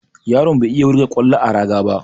Yaron bai iya wurga ƙwallo a raga ba.